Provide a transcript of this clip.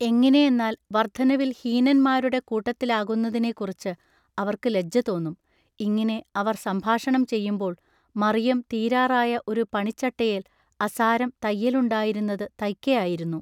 എങ്ങിനെയെന്നാൽ വൎദ്ധനവിൽ ഹീനന്മാരുടെ കൂട്ടത്തിലാകുന്നതിനെക്കുറിച്ചു അവൎക്കു ലജ്ജതോന്നും ഇങ്ങിനെ അവർ സംഭാഷണം ചെയ്യുമ്പോൾ മറിയം തീരാറായ ഒരു പണിച്ചട്ടയേൽ അസാരം തയ്യലുണ്ടായിരുന്നതു തയ്ക്കയായിരുന്നു.